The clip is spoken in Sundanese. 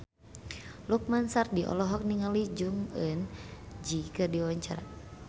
Lukman Sardi olohok ningali Jong Eun Ji keur diwawancara